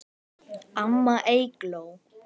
Amma Eygló.